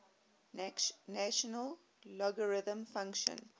natural logarithm function